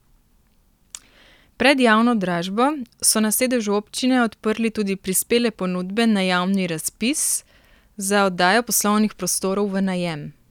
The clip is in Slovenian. Pred javno dražbo so na sedežu občine odprli tudi prispele ponudbe na javni razpis za oddajo poslovnih prostorov v najem.